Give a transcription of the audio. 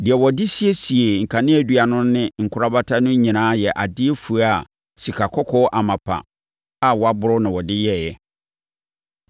Deɛ wɔde siesiee kaneadua no ne ne nkorabata no nyinaa yɛ adeɛ fua a sikakɔkɔɔ amapa a wɔaboro na wɔde yɛeɛ.